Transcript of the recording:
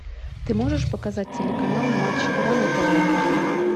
ты можешь показать телеканал матч игра на тв